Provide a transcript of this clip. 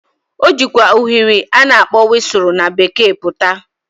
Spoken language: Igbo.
O jịkwa ụshụrị a na-akpo wịsụrụ na Bekee pụta.